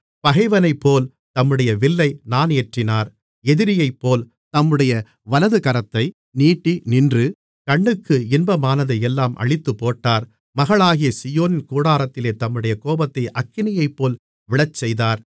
பகைவனைப்போல் தம்முடைய வில்லை நாணேற்றினார் எதிரியைப்போல் தம்முடைய வலதுகரத்தை நீட்டி நின்று கண்ணுக்கு இன்பமானதையெல்லாம் அழித்துப்போட்டார் மகளாகிய சீயோனின் கூடாரத்திலே தம்முடைய கோபத்தை அக்கினியைப்போல் விழச்செய்தார்